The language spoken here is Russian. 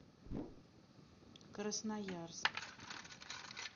красноярск